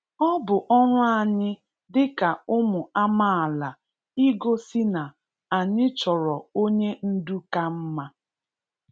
Ọ bụ ọrụ anyị dị ka ụmụ amaala igosi na anyị chọrọ onye ndu ka mma.